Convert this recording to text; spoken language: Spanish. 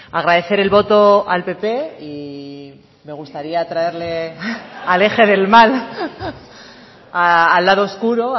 agradecer el voto al pp y me gustaría traerle al eje del mal al lado oscuro